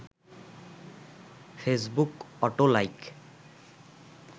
Facebook auto like